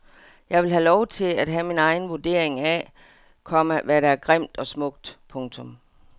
Jeg vil have lov til at have min egen vurdering af, komma hvad der er grimt og smukt. punktum